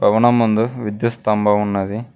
భవనం ముందు విద్యుత్ స్తంభం ఉన్నది.